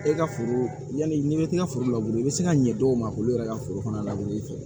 E ka foro yani n'i bɛ t'i ka foro la i bɛ se ka ɲɛ dɔw ma olu yɛrɛ ka foro kɔnɔ labɛn fɛ